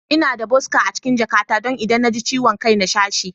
Ina da boska a cikin jakata don idan na ji ciwon kai zan sha shi.